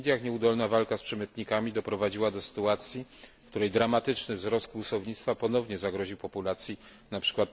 W Indiach nieudolna walka z przemytnikami doprowadziła do sytuacji, w której dramatyczny wzrost kłusownictwa ponownie zagroził populacji np.